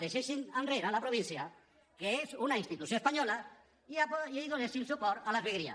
deixéssim enrere la província que és una institució espanyola i donessin suport a les vegueries